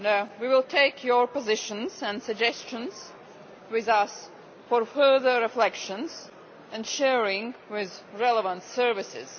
We will take your positions and suggestions with us for further reflection and sharing with relevant services.